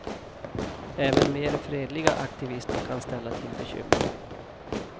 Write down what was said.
Även mer fredliga aktivister kan ställa till bekymmer.